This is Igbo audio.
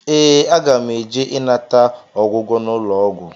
Ee, aga m eje ịnata ọgwụgwọ n'ụlọọgwụ